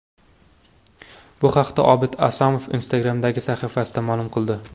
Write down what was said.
Bu haqda Obid Asomov Instagram’dagi sahifasida ma’lum qildi .